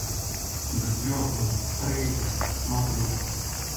к звездам трейлер смотреть